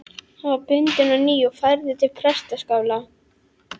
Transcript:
Hann var bundinn á ný og færður til prestaskála.